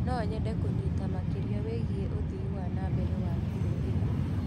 No nyende kũnyita makĩria wĩgiĩ ũthii wa na mbere wa kĩrũrĩrĩ.